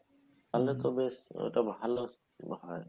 তাহলে তো বেশ ওটা ভালো scheme মনে হয়